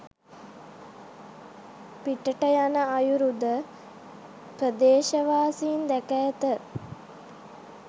පිටට යන අයුරුද ප්‍රදේශවාසීන් දැක ඇත